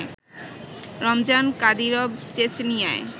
Ramzan Kadyrov চেচনিয়ায়